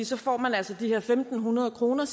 så får man altså de her fem hundrede kroner